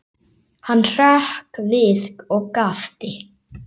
Hann hrökk við og gapti.